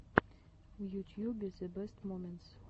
в ютьюбе зэ бэст моментс